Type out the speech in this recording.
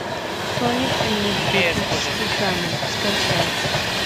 соник энергетический камень скачай